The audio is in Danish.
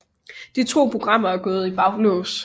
De to programmer er gået i baglås